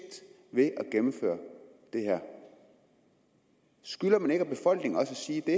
ved at gennemføre det her skylder man ikke befolkningen at sige det